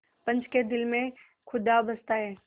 पंच के दिल में खुदा बसता है